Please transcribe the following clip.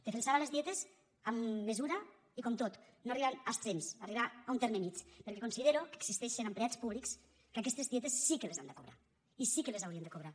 defensava les dietes amb mesura i com tot no arribant a extrems arribar a un terme mitjà perquè considero que existeixen empleats públics que aquestes dietes sí que les han de cobrar i sí que les haurien de cobrar